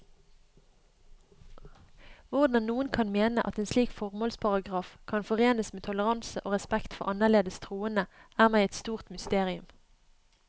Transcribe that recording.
Hvordan noen kan mene at en slik formålsparagraf kan forenes med toleranse og respekt for annerledes troende, er meg et stort mysterium.